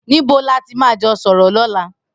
Nibó làtí mà jọ sọrọ lọ̀lá